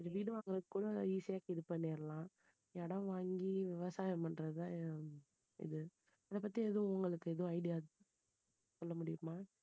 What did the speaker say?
இந்த வீடு வாங்குறது கூட easy இது பண்ணிடலாம் இடம் வாங்கி விவசாயம் பண்றதுதான் இது இதைப்பத்தி உங்களுக்கு ஏதோ idea சொல்ல முடியுமா.